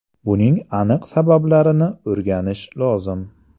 Buning aniq sabablarini o‘rganish lozim.